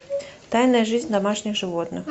тайная жизнь домашних животных